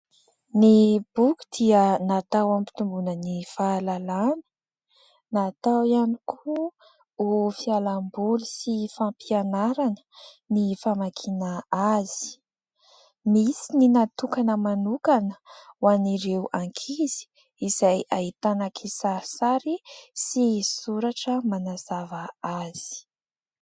Ny boky dia natao ampitomboina ny fahalalana, natao ihany koa ho fialamboly sy fampianarana ny famakiana azy ; misy ny natokana manokana ho an'ireo ankizy izay ahitana kisarisary sy soratra manazava azy.